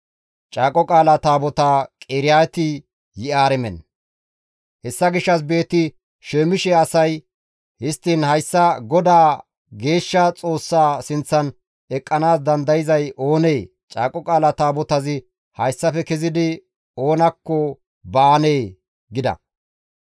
Hessa gishshas Beeti-Shemishe asay, «Histtiin hayssa GODAA, geeshsha Xoossaa sinththan eqqanaas dandayzay oonee? Caaqo Qaala Taabotazi hayssafe kezidi oonakko baanee?» gida.